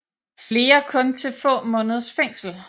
Flere kun til få måneders fængsel